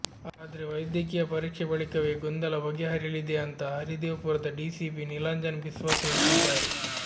ಆದ್ರೆ ವೈದ್ಯಕೀಯ ಪರೀಕ್ಷೆ ಬಳಿಕವೇ ಗೊಂದಲ ಬಗೆ ಹರಿಯಲಿದೆ ಅಂತ ಹರಿದೇವ್ಪುರದ ಡಿಸಿಪಿ ನೀಲಾಂಜನ್ ಬಿಸ್ವಾಸ್ ಹೇಳ್ತಿದ್ದಾರೆ